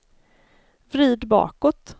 vrid bakåt